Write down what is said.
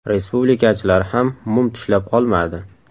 Respublikachilar ham mum tishlab qolmadi.